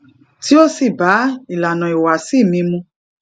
tó sì bá ilànà ìhùwàsí mi mu